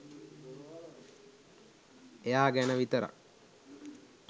එයා ගැන විතරක්